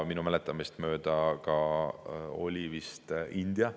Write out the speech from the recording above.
Minu mäletamist mööda oli vist ka India.